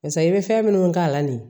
Barisa i bɛ fɛn minnu k'a la de